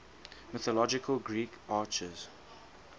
mythological greek archers